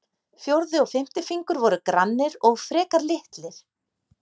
Fjórði og fimmti fingur voru grannir og frekar litlir.